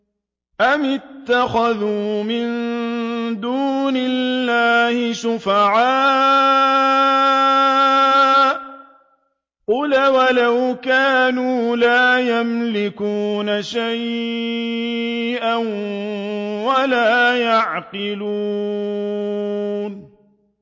أَمِ اتَّخَذُوا مِن دُونِ اللَّهِ شُفَعَاءَ ۚ قُلْ أَوَلَوْ كَانُوا لَا يَمْلِكُونَ شَيْئًا وَلَا يَعْقِلُونَ